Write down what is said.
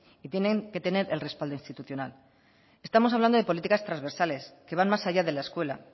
y tienen que tener el respaldo institucional estamos hablando de políticas transversales que van más allá de la escuela